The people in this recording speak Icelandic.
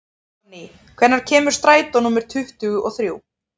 Sonný, hvenær kemur strætó númer tuttugu og þrjú?